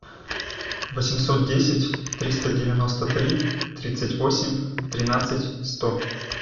восемьсот десять триста девяносто три тридцать восемь тринадцать сто